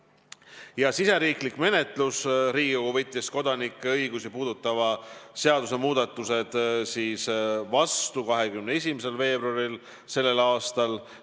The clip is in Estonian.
Mis puutub riigisisesesse menetlusse, siis Riigikogu võttis kodanike õigusi puudutavad seadusmuudatused vastu 21. veebruaril sellel aastal.